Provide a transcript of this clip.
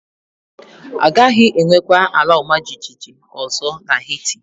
A gaghị enwekwa ala ọma jijiji ọzọ na Heti